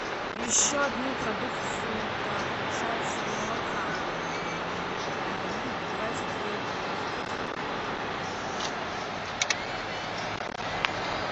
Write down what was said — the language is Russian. еще одну продукцию так получается молока ну давайте две упаковки